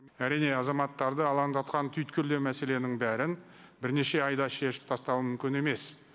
әрине азаматтарды алаңдатқан түйткілді мәселенің бәрін бірнеше айдың ішінде шешіп тастау мүмкін емес